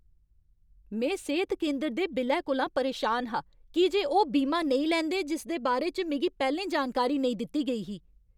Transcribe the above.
में सेह्त केंदर दे बिल्लै कोला परेशान हा की जे ओह् बीमा नेईं लैंदे जिसदे बारे च मिगी पैह्लें जानकारी नेईं दित्ती गेई ही।